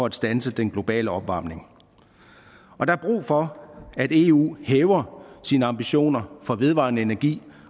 at standse den globale opvarmning og der er brug for at eu hæver sine ambitioner for vedvarende energi